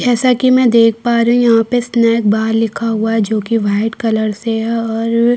जैसा कि मैं देख पा रही हूँ यहाँ पर स्नैक बार लिखा हुआ है जोकि व्हाइट कलर से है और --